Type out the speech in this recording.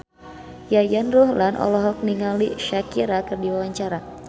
Yayan Ruhlan olohok ningali Shakira keur diwawancara